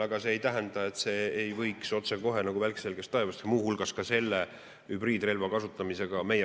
Aga see ei tähenda, et see ei võiks otsekohe nagu välk selgest taevast meie vastu pöörduda, muu hulgas ka seda hübriidrelva kasutades.